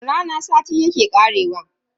Wani rana sati yake karewa.